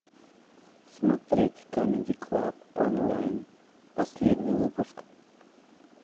смотреть камеди клаб онлайн последний выпуск